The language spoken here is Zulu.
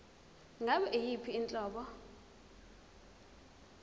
ngabe yiyiphi inhlobo